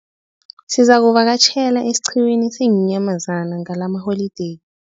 Nizakuvakatjhela esiqhiwini seenyamazana ngalamaholideyi.